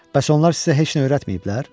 Bəs onlar sizə heç nə öyrətməyiblər?